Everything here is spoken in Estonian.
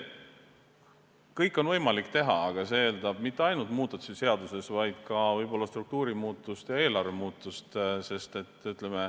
Kõike on võimalik teha, aga see ei eelda mitte ainult muudatusi seaduses, vaid ka võib-olla struktuuri ja eelarve muutust.